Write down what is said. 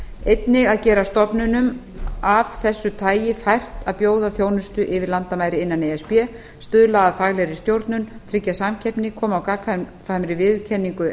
einnig að gera stofnunum af þessu tagi fært að bjóða þjónustu yfir landamæri innan e s b stuðla að faglegri stjórnun tryggja samkeppni koma á gagnkvæmri viðurkenningu